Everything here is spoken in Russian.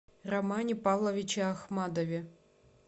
романе павловиче ахмадове